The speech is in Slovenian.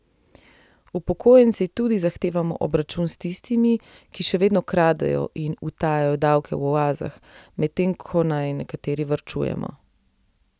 Upokojenci tudi zahtevamo obračun s tistimi, ki še vedno kradejo in utajajo davke v oazah, medtem ko naj nekateri varčujemo.